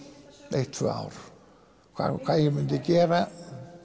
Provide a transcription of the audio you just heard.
eitt tvö ár hvað hvað ég myndi gera